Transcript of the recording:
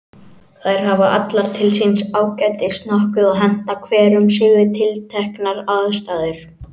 Þær hafa allar til síns ágætis nokkuð og henta hver um sig við tilteknar aðstæður.